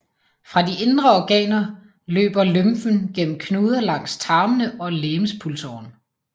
Fra de indre organer løber lymfen gennem knuder langs tarmene og legemspulsåren